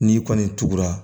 N'i kɔni tugura